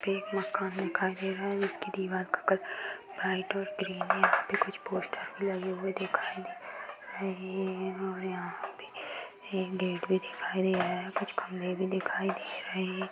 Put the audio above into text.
यहाँ पे एक मकान दिखाई दे रहा है जिसके दिवार का कलर वाइट और क्रीम है। यहाँ पे कुछ पोस्टर भी लगे हुए दिखाई दे रहे हैं और यहाँ पे एक गेट भी दिखाई दे रहा है। कुछ खम्बे भी दिखाई दे रहे हैं।